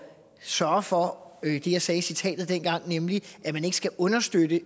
sørge for det jeg sagde i citatet dengang nemlig at man ikke skal understøtte